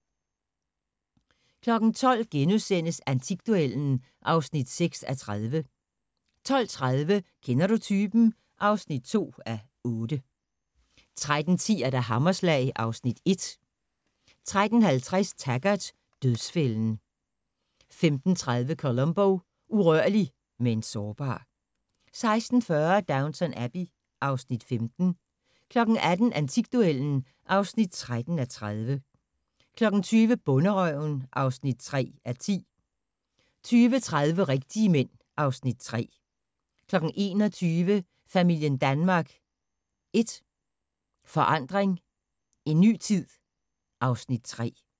12:00: Antikduellen (6:30)* 12:30: Kender du typen? (2:8) 13:10: Hammerslag (Afs. 1) 13:50: Taggart: Dødsfælden 15:30: Columbo: Urørlig – men sårbar 16:40: Downton Abbey (Afs. 15) 18:00: Antikduellen (13:30) 20:00: Bonderøven (3:10) 20:30: Rigtige Mænd (Afs. 3) 21:00: Familien Danmark I Forandring – en ny tid (Afs. 3)